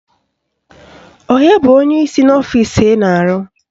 Onye bụ onyeisi n'ọfisi ị na-arụ?